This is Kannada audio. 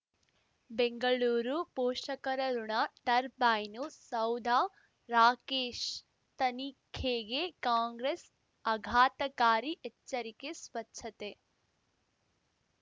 ಬೆಂಗಳೂರು ಪೋಷಕರಋಣ ಟರ್ಬೈನು ಸೌಧ ರಾಕೇಶ್ ತನಿಖೆಗೆ ಕಾಂಗ್ರೆಸ್ ಆಘಾತಕಾರಿ ಎಚ್ಚರಿಕೆ ಸ್ವಚ್ಛತೆ